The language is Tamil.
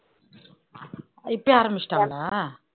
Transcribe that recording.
இப்பவே ஆரம்பிச்சுட்டாங்களா